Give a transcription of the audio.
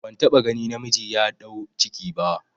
Ban taɓa gani namiji ya ɗau ciki ba